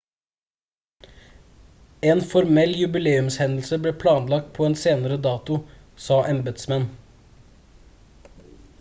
en formell jubileumshendelse ble planlagt på en senere dato sa embetsmenn